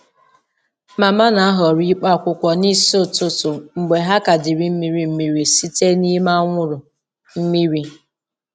Mama na-ahọrọ ịkpụ akwụkwọ n’isi ụtụtụ mgbe ha ka dịrị mmiri mmiri site n’ime anwụrụ mmiri.